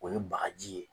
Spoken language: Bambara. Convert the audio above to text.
O ye bagaji ye